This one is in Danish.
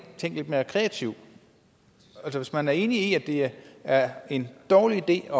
tænkt lidt mere kreativt hvis man er enig i at det er en dårlig idé at